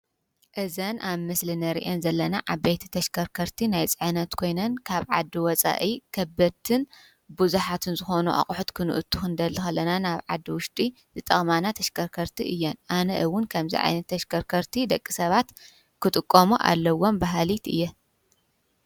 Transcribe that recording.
እዘን ኣብ ምስሊ እንሪአን ዘለና ዓበይቲ ተሽከርከርቲ ናይ ፅዕነት ኮይነን ካብ ዓዲ ወፃኢ ከበድትን ብዙሓትን ዝኮኑ ኣቅሑ ክነእቱ ክንደሊ ከለና ናብ ዓዲ ውሽጢ ዝጠቅማና ተሽከርከርቲ እየን፡፡ ኣነ እውን ከምዚ ዓይነት ተሽከርከርቲ ደቂ ሰባት ክጥቀሙ ኣለዎም በሃሊት እየ፡፡